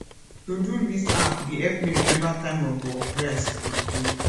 todo list app dey help me remember time of work wey i suppose do